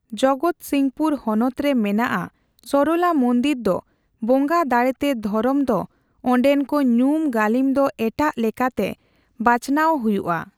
ᱡᱚᱜᱚᱛ ᱥᱤᱝᱯᱩᱨ ᱦᱚᱱᱚᱛ ᱨᱮ ᱢᱮᱱᱟᱜ ᱟ ᱥᱚᱨᱚᱞᱟ ᱢᱚᱱᱫᱤᱱ ᱫᱚ ᱵᱚᱸᱜᱟ ᱫᱟᱲᱮ ᱛᱮ ᱫᱷᱚᱨᱚᱢ ᱫᱚ ᱚᱰᱮᱱ ᱠᱚ ᱧᱩᱢ ᱜᱟᱹᱞᱤᱢ ᱫᱚ ᱮᱴᱟᱜ ᱞᱮᱠᱟᱛᱮ ᱵᱟᱪᱱᱟᱣ ᱦᱚᱭᱩᱜ ᱟ ᱾